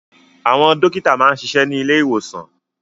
Àwọn dókítà máa ń ṣiṣẹ́ ní ilé ìwòsàn